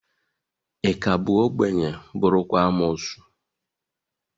Ị ka bụ obenye, bụrụkwa amuosu?